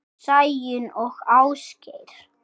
Sæunn og Ásgeir.